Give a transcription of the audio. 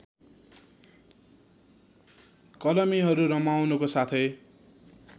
कलमीहरू रमाउनुको साथै